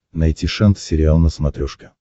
найти шант сериал на смотрешке